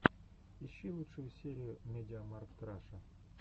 ищи лучшую серию медиамаркт раша